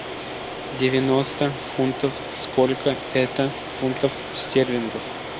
девяносто фунтов сколько это фунтов стерлингов